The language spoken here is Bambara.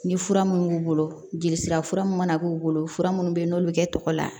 Ni fura mun b'u bolo jelisira fura mun mana k'u bolo fura minnu bɛ yen n'olu bɛ kɛ tɔgɔ la